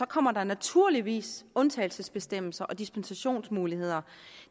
kommer der naturligvis undtagelsesbestemmelser og dispensationsmuligheder